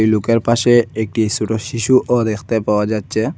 এই লোকের পাসে একটি ছুডো শিশুও দ্যাকতে পাওয়া যাচ্চে।